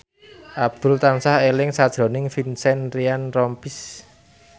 Abdul tansah eling sakjroning Vincent Ryan Rompies